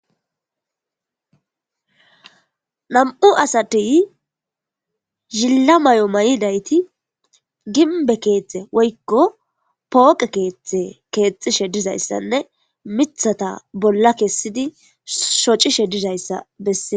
nam7u asatey zilla may7o may7i dayti gimbe keeththe woykko pooqe keeththe keexxishe dizayssanne mithata bolla kessidi shocishe dizayssa bessee